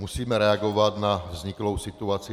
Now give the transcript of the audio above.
Musíme reagovat na vzniklou situaci.